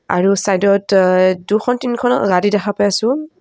আৰু চাইডত এ দুখন তিনিখন অ গাড়ী দেখা পাই আছোঁ।